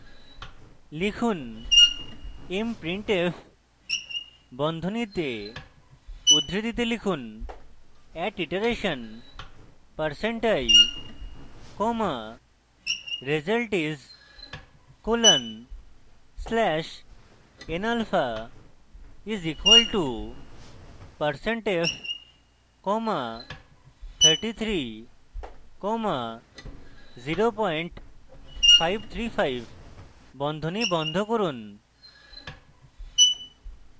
লিখুন> mprintf বন্ধনীতে উদ্ধৃতিতে লিখুন at iteration percent i comma result is colon slash n alpha is equal to percent f comma 33 comma 0535 বন্ধনী বন্ধ করুন